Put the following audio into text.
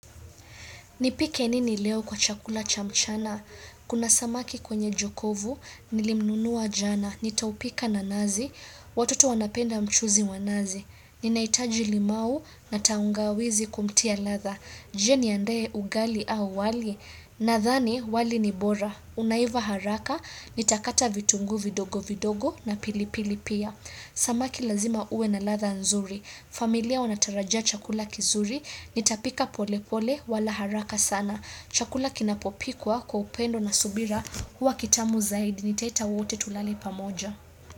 Nipike nini leo kwa chakula cha mchana? Kuna samaki kwenye jokovu, nilimnunua jana. Nitaupika na nazi, watoto wanapenda mchuzi wa nazi. Ninahitaji limau na tangawizi kumtia ladha. Je niandae ugali au wali. Nadhani wali ni bora. Unaiva haraka, nitakata vitungu vidogo vidogo na pilipili pia. Samaki lazima uwe na ladha nzuri. Familia wanatarajia chakula kizuri. Nitapika pole pole wala haraka sana Chakula kinapopikwa kwa upendo na subira huwa kitamu zaidi nitaita wote tulale pamoja.